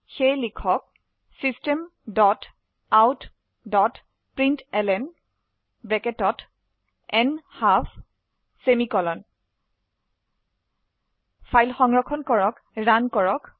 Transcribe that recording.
সেয়ে লিখক systemoutপ্ৰিণ্টলন ফাইল সংৰক্ষণ কৰক ৰান কৰক